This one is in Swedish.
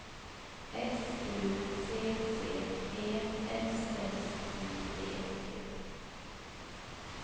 S U C C E S S I V T